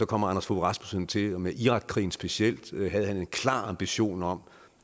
kom anders fogh rasmussen til og med irakkrigen specielt havde han en klar ambition om